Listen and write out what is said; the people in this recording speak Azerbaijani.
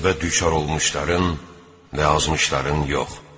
Qəzəbə düçar olmuşların və azmışların yox.